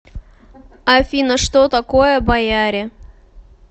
афина что такое бояре